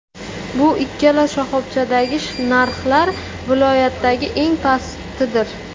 Bu ikkala shoxobchadagi narxlar viloyatdagi eng pastidir.